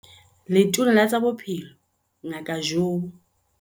Letona la tsa Bophelo Ngaka Joe